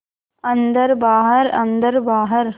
अन्दर बाहर अन्दर बाहर